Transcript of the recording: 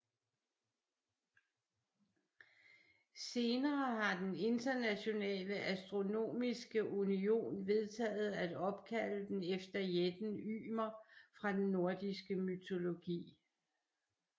Senere har den Internationale Astronomiske Union vedtaget at opkalde den efter jætten Ymer fra den nordiske mytologi